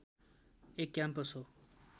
एक क्याम्पस हो।